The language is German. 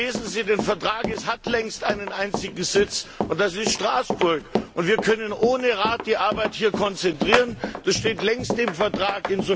Lesen Sie den Vertrag Es hat längst einen einzigen Sitz, und das ist Straßburg. Wir können ohne Rat die Arbeit hier konzentrieren, das steht längst im Vertrag.